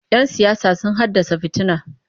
Yan siyasa sun haddasa fitina.